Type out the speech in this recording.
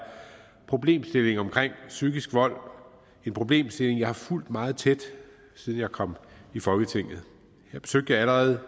problemstillingen omkring psykisk vold en problemstilling jeg har fulgt meget tæt siden jeg kom i folketinget jeg besøgte allerede